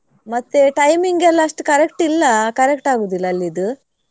ಮತ್ತೆ timing ಎಲ್ಲಾ ಅಷ್ಟು correct ಇಲ್ಲ correct ಆಗುದಿಲ್ಲ ಅಲ್ಲಿದ್.